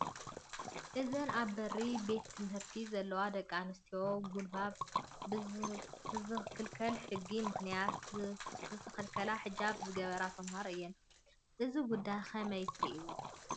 እዘን ኣብ በሪ ቤት ትምህርቲ ዘለዋ ደቂ ኣንስትዮ ጉልባብ ብዝኽልክል ሕጉ ምኽንያት ዝኸልከለን ሕጃብ ዝገበራ ተመሃሮ እየን፡፡ እዚ ጉዳይ ከመይ ትሪእዎ?